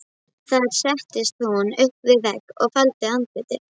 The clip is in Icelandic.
Þar settist hún upp við vegg og faldi andlitið.